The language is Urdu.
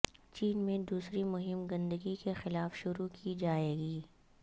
چین میں دوسری مہم گندگی کے خلاف شروع کی جائے گی